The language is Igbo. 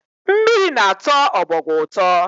Mmiri na-atọ ọbọgwụ ụtọ